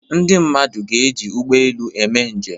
Ndị mmadụ ga-eji ụgbọelu eme njem.